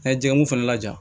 Ka jɛkulu fana lajɛ